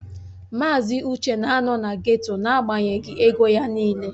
Mazị Uche na-anọ na geto n'agbanyeghị ego ya niile